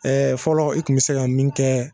Ɛɛ fɔlɔ i kun be se ka min kɛ